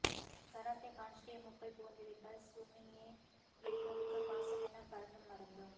karate காஸ்ட்யூமுக்குள் புகுந்து விட்டால் சுமியே கெய்கோவுக்கு பாசமெல்லாம் பறந்தும் மறந்தும்